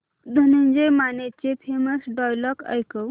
धनंजय मानेचे famous dialogue ऐकव